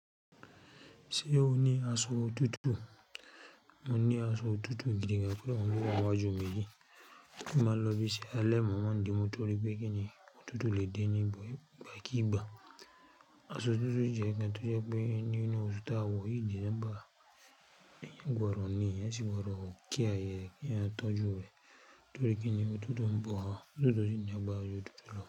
Ṣé o ní aṣọ òtútù? Mo ní aṣọ òtútù gidi koda, ó uń lówa wa jùmọ̀ yìí. Kí máa lọ bí i ṣe, alẹ́ mọ́ wá ń di mú torí pé kíni òtútù lè de ni gba kí gba. Aṣọ òtútù ò jẹ́ kí a tó jẹ́ pé ní nu o su tá wò yìí December. Ẹ̀yan gbọ́rọ̀ ni, ẹyan sì gbọ́dọ̀ kí a yẹ kí a tọ́jú rẹ̀ torí kíni òtútù ń bọ̀ wá, òtútù to si ni agbára ju òtútù lọ.